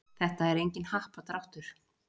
Þetta er enginn happadráttur